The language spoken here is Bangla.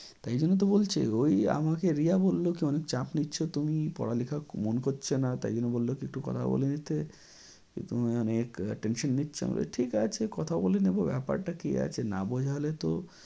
তাই জন্য তো বলছি ওই আমাকে রিয়া বললো যে অনেক চাপ নিচ্ছ তুমি পড়া লেখা মন করছে না তাই জন্য বললো যে একটু কথা বলে নিতে। যে তুমি অনেক tension নিচ্ছ। আমি বলছি ঠিক আছে কথা বলে নেবো ব্যাপারটা কি আছে না বোঝালে তো